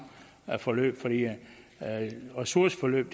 forløb ressourceforløb